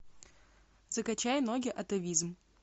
закачай ноги атавизм